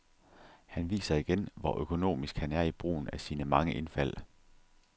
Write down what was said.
Han viser igen, hvor økonomisk han er i brugen af sine mange indfald.